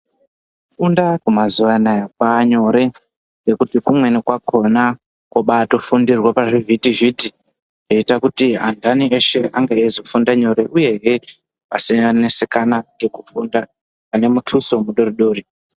Kufunda kwemazuva anaya kwaanyore ngekuti kumweno kwakona kobaatofundirwe pazvivhitivhiti. Zvoita kuti antani eshe ange eizofunda nyore uyehe asanesekana ngekufunda. Ane mutuso mudoridori.